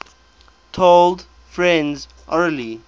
told friends orally